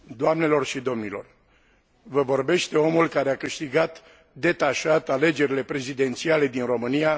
Vă vorbește omul care a câștigat detașat alegerile prezidențiale din România de la sfârșitul anului